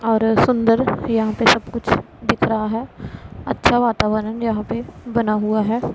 और सुंदर यहां पे सब कुछ दिख रहा है अच्छा वातावरण यहां पे बना हुआ है।